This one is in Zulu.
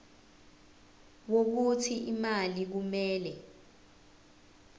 wokuthi imali kumele